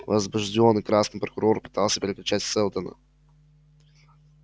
возбуждённый красный прокурор пытался перекричать сэлдона